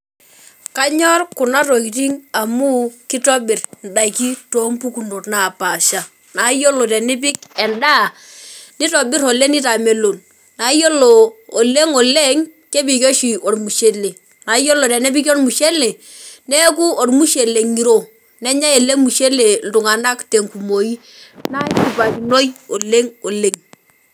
Kanyor kuna tokitin amu kitobir ndaiki toompukunot naapasha na yiolo tenipik endaa , nitobir oleng nitamelon na yiolo oleng oleng kepiki oshi ormushele, naa iyiolo tenepiki ormushele neeku ormushele ngiro, nenyae ele mushele iltunganak tenkumoi neshipakinoi oleng oleng .